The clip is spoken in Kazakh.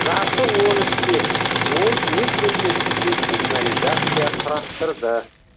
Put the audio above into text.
жасы он үште ол өз бөлмесінде сигнализация құрастырды